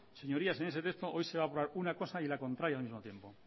señoría en ese texto hoy se va a aprobar una cosa y la contraria al mismo tiempo